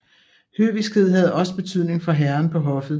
Høviskhed havde også betydning for herren på hoffet